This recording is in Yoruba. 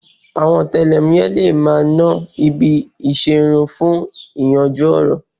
Àwọn ọ̀tẹlẹ̀múyẹ́ le máa ná ibi ìṣerun fún yíyanjú ọ̀ràn